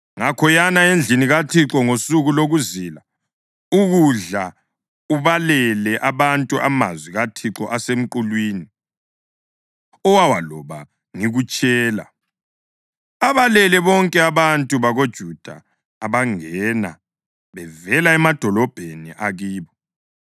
Ngakho yana endlini kaThixo ngosuku lokuzila ukudla ubalele abantu amazwi kaThixo asemqulwini owawaloba ngikutshela. Abalele bonke abantu bakoJuda abangena bevela emadolobheni akibo.